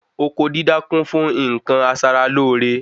Oko dídá kun fún nkan aṣara lóore